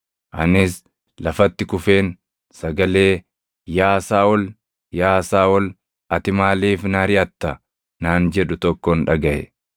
Anis lafatti kufeen sagalee, ‘Yaa Saaʼol! Yaa Saaʼol! Ati maaliif na ariʼatta?’ naan jedhu tokkon dhagaʼe.